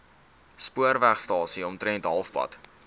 spoorwegstasie omtrent halfpad